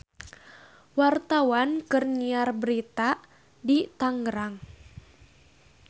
Wartawan keur nyiar berita di Tangerang